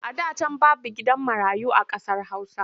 A da can babu gidan marayu a ƙasar Hausa.